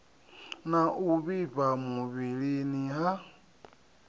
na u vhifha muvhilini ha